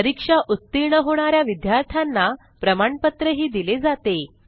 परीक्षा उत्तीर्ण होणा या विद्यार्थ्यांना प्रमाणपत्रही दिले जाते